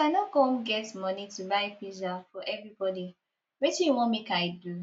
as i no come get money to buy pizza for everybody wetin you wan make i do